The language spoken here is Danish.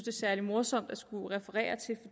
er særlig morsomt at skulle referere til